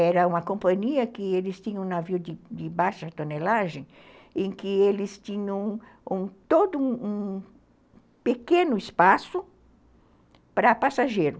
Era uma companhia que eles tinham um navio de de baixa tonelagem, em que eles tinham todo um um pequeno espaço para passageiro.